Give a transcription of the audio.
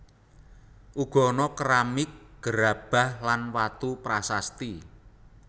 Uga ana keramik gerabah lan watu prasasti